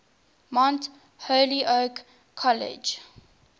mount holyoke college